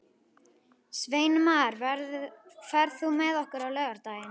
Sveinmar, ferð þú með okkur á laugardaginn?